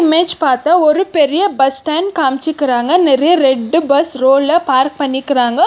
Image பார்த்தா ஒரு பெரிய பஸ் ஸ்டாண்ட் காம்சிக்குறாங்க நிறைய ரெட்டு பஸ் ரோல பார்க் பண்ணிக்குறாங்க.